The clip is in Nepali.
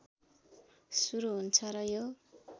सुरु हुन्छ र यो